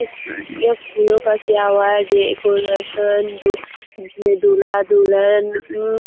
ये फूलो का किया हुआ है डेकोरेशन जिसमे दूल्हा दुल्हन--